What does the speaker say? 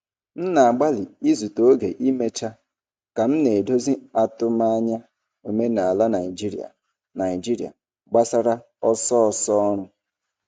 M na-agbalị izute oge imecha ka m na-edozi atụmanya omenala Naijiria Naijiria gbasara ọsọ ọsọ ọrụ.